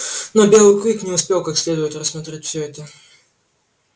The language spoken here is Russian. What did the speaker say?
но белый клык не успел как следует рассмотреть всё это